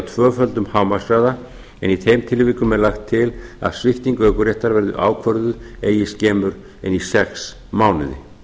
tvöföldum hámarkshraða en í þeim tilvikum er lagt til að svipting ökuréttar verði ákvörðuð eigi skemur en í sex mánuði